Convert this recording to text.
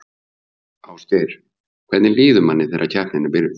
Ásgeir: Hvernig líður manni þegar keppnin er byrjuð?